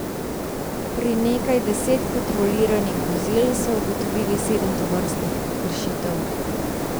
Pri nekaj deset kontroliranih vozil so ugotovili sedem tovrstnih kršitev.